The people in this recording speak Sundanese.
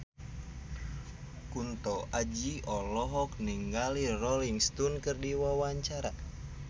Kunto Aji olohok ningali Rolling Stone keur diwawancara